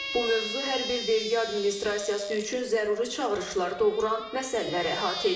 Bu mövzu hər bir vergi administrasiyası üçün zəruri çağırışlar doğuran məsələləri əhatə edir.